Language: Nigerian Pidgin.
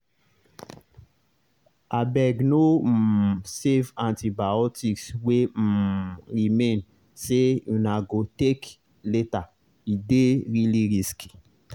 abegno um save antibiotics wey um remain say una go take latere dey really risky.